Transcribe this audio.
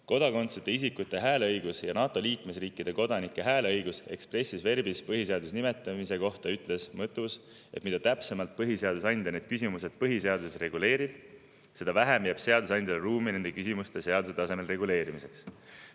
Kodakondsuseta isikute hääleõiguse ja NATO liikmesriikide kodanike hääleõiguse expressis verbis põhiseaduses nimetamise kohta ütles Mõttus, et mida täpsemalt põhiseadusandja neid küsimusi põhiseaduses reguleerib, seda vähem jääb seadusandjale ruumi nende küsimuste seaduse tasemel reguleerimiseks.